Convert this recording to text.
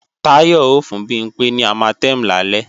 Táyọ ó fún Bimpé ní Armatem lálẹ́